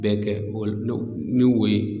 Bɛɛ kɛ o ni wo ye